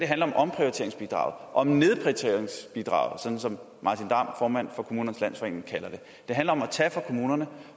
handler om omprioriteringsbidraget om nedprioriteringsbidraget sådan som martin damm formand for kommunernes landsforening kalder det det handler om at tage fra kommunerne